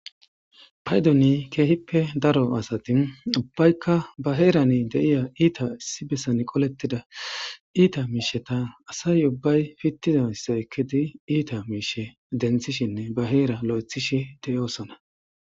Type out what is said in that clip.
Paydoni keehippe daro asati ubbaykka ba heerani deiya iita issi besan qolettida iita miisheta asay ubbay fittizasse ekketi iita miishe denthishinne ba heera lo'ethishi de'oosona.